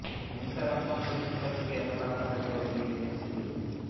cancer আক্রান্ত শিক্ষার্থীকে এক লাখ টাকা দিল বিএনএ সিলেট